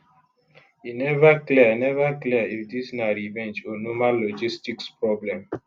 e neva clear neva clear if dis na revenge or normal logistics problem